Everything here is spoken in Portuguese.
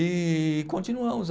E continuamos.